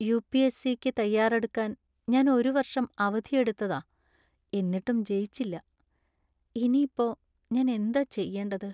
U. P. S. C. ക്ക് തയ്യാറെടുക്കാൻ ഞാൻ ഒരു വർഷം അവധിയെടുത്തെതാ എന്നിട്ടും ജയിച്ചില്ല. ഇനി ഇപ്പോ ഞാൻ എന്താ ചെയ്യണ്ടത്?